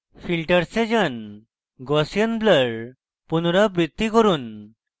filters এ যান gaussian blur পুনরাবৃত্তি করুন